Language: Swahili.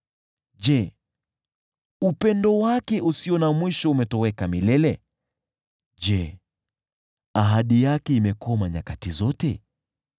Je, upendo wake usio na mwisho umetoweka milele? Je, ahadi yake imekoma nyakati zote?